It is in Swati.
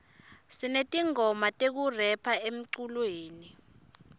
sinetingoma tekurepha emculweni